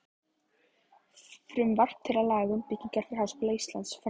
Frumvarp til laga um byggingu fyrir Háskóla Íslands, frá